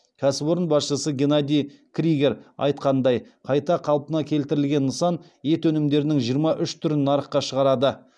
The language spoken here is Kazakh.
кәсіпорын басшысы геннадий кригер айтқандай қайта қалпына келтірілген нысан ет өнімдерінің жиырма үш түрін нарыққа шығарады